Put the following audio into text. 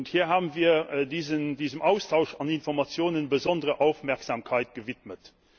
Hier haben wir diesem Austausch von Informationen besondere Aufmerksamkeit gewidmet.